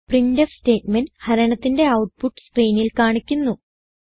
printf statement ഹരണത്തിന്റെ output സ്ക്രീനിൽ കാണിക്കുന്നു